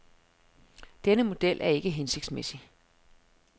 Denne model er ikke hensigtsmæssig.